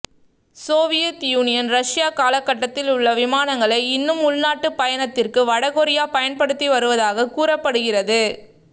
Soviet Union Russia காலகட்டத்தில் உள்ள விமானங்களை இன்னும் உள்நாட்டு பயணத்திற்கு வடகொரியா பயன்படுத்தி வருவதாக கூறப்படுகிறது